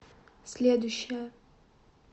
следующая